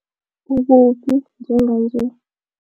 Ukuphi njenganje?